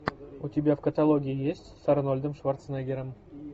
у тебя в каталоге есть с арнольдом шварценеггером